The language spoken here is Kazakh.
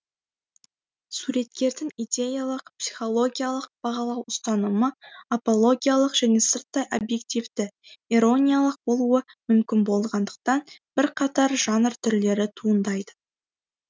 суреткердің идеялық психологиялық бағалау ұстанымы апологиялық және сырттай объективті ирониялық болуы мүмкін болғандықтан бірқатар жанр түрлері туындайды